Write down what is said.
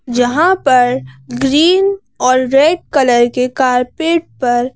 जहां पर ग्रीन और रेड कलर के कारपेट पर--